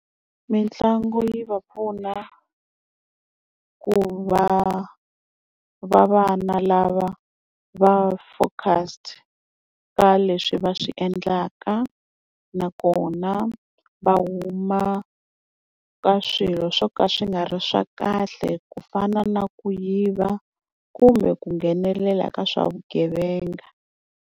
Mitlangu yi va pfuna ku va va vana lava va focused ka leswi va swi endlaka nakona va huma ka swilo swo ka swi nga ri swa kahle ku fana na ku yiva kumbe ku nghenelela ka swa vugevenga.